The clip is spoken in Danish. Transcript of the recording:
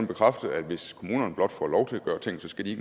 bekræfte at hvis kommunerne blot får lov til at gøre ting skal de